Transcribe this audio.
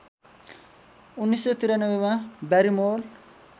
१९९३ मा ब्यारिमोर